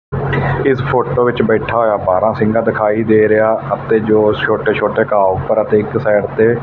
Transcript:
ਇੱਸ ਫ਼ੋਟੋ ਵਿੱਚ ਬੈਠਾ ਹੋਇਆ ਬਾਰ੍ਹਾਂਸਿੰਘਾਂ ਦਿਖਾਈ ਦੇ ਰਿਹਾ ਅਤੇ ਜੋ ਛੋਟੇ ਛੋਟੇ ਘਾਹ ਉੱਪਰ ਅਤੇ ਇੱਕ ਸਾਈਡ ਤੇ--